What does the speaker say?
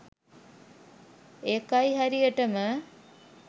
ඒකයි හරියටම